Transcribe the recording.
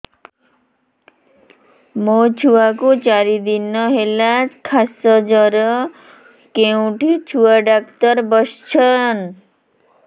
ମୋ ଛୁଆ କୁ ଚାରି ଦିନ ହେଲା ଖାସ ଜର କେଉଁଠି ଛୁଆ ଡାକ୍ତର ଵସ୍ଛନ୍